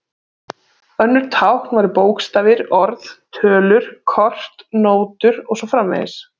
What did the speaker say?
Önnur tákn væru bókstafir, orð, tölur, kort, nótur og svo framvegis.